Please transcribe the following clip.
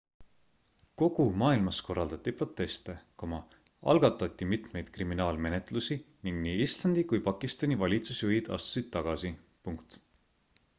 kogu maailmas korraldati proteste algatati mitmeid kriminaalmenetlusi ning nii islandi kui pakistani valitsusjuhid astusid tagasi